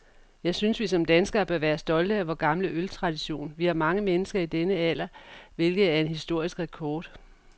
Jeg synes, vi som danskere bør være stolte af vor gamle øltradition. Vi har mange mennesker i denne alder, hvilket er en historisk rekord.